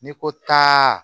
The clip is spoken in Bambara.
N'i ko taa